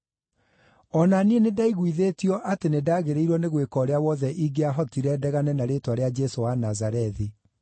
“O na niĩ nĩndaiguithĩtio atĩ nĩndagĩrĩirwo nĩ gwĩka ũrĩa wothe ingĩahotire ndegane na rĩĩtwa rĩa Jesũ wa Nazarethi.